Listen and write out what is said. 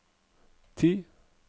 ti